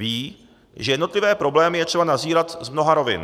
Vědí, že jednotlivé problémy je třeba nazírat z mnoha rovin.